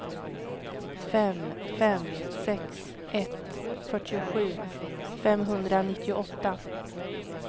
fem fem sex ett fyrtiosju femhundranittioåtta